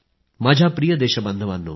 माझ्या प्रिय देशबांधवांनो